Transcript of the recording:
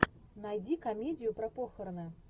найди комедию про похороны